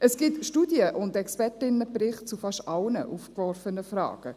Es gibt Studien und Expertinnenberichte zu fast allen aufgeworfenen Fragen.